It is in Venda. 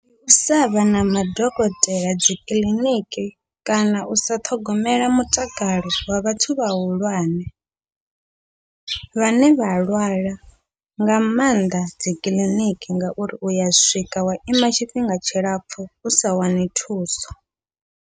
Ndi u sa vha na madokotela dzikiḽiniki, kana usa ṱhogomela mutakalo wa vhathu vhahulwane vhane vha lwala nga maanḓa dzikiḽiniki, ngauri uya swika wa ima tshifhinga tshilapfhu usa wani thuso.